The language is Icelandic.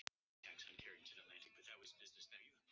Pía, hver syngur þetta lag?